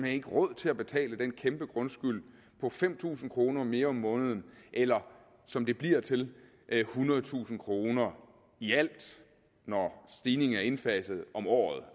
ikke råd til at betale den kæmpe grundskyld på fem tusind kroner mere om måneden eller som det bliver til ethundredetusind kroner i alt når stigningen er indfaset om året